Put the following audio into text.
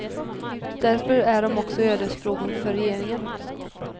Därför är de också ödesfrågor för regeringen.